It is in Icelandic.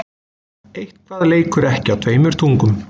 Eitthvað leikur ekki á tveimur tungum